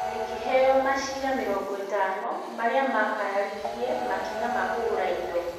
Na ĩkĩheo maciira mĩrongo ĩtano marĩa maakararirie makinya ma kũgũra indo.